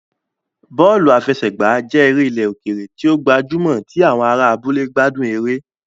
Bọ́ọ̀lù àfẹsẹ̀gbá jẹ́ eré ilẹ̀ òkèèrè tí ó gbajúmọ̀ tí àwọn ará abúlé gbádùn eré